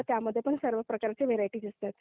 त्यामध्ये पण सर्वच प्रकारच्या व्हरायटीज असतात.